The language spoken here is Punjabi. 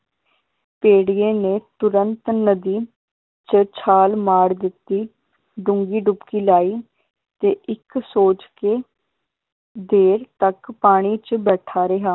ਭੇੜੀਏ ਨੇ ਤੁਰੰਤ ਨਦੀ ਚ ਛਾਲ ਮਾਰ ਦਿੱਤੀ ਡੂੰਘੀ ਡੁਬਕੀ ਲਾਈ ਤੇ ਇਕ ਸੋਚ ਕੇ ਦੇਰ ਤੱਕ ਪਾਣੀ ਚ ਬੈਠਾ ਰਿਹਾ।